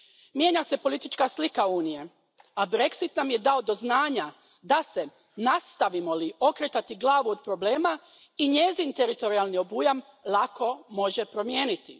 Mijenja se politička slika Unije, a Brexit nam je dao do znanja da se, nastavimo li okretati glavu od problema, i njezin teritorijalni obujam lako može promijeniti.